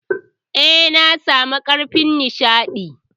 Eh, na samu karafish ɗin.